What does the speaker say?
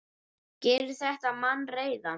Gerir þetta mann reiðan?